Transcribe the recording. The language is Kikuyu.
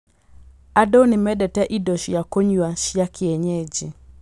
Andũ nĩ mendete indo cia kũnyua cia kienyeji.